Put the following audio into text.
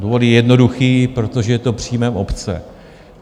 Důvod je jednoduchý, protože je to příjmem obce.